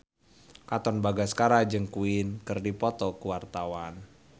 Katon Bagaskara jeung Queen keur dipoto ku wartawan